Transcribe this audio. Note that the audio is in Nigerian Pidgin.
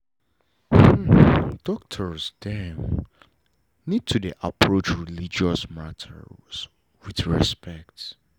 doctors dem.need to dey approach religious matters with respect